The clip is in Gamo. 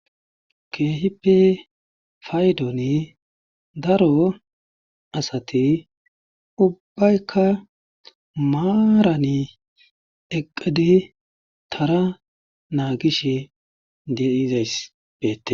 Kehipe paydoni daro asti ubayka maramo eqidi Tara nagishe de'izays betes